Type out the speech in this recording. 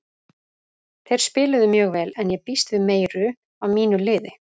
Þeir spiluðu mjög vel en ég býst við meiru af mínu liði.